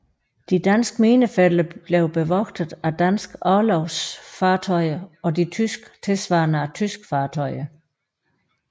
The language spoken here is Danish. De danske minefelter blev bevogtet af danske orlogsfartøjer og de tyske tilsvarende af tyske fartøjer